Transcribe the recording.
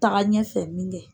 Taga ɲɛfɛ min kɛ.